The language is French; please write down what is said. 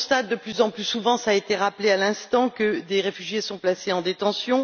Or, on constate de plus en plus souvent cela a été rappelé à l'instant que des réfugiés sont placés en détention.